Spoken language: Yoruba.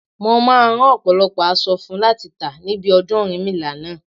Mo máa rán ọ̀pọ̀lọpọ̀ aṣọ funfun láti tà níbi ọdún Ọ̀rúnmìlà náà.